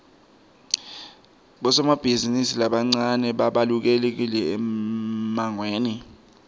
bosomabhizimisi labancane babalulekile emangweni